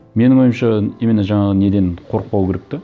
менің ойымша именно жаңағы неден қорықпау керек те